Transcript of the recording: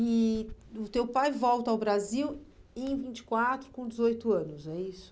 E o teu pai volta ao Brasil em vinte e quatro com dezoito anos, é isso?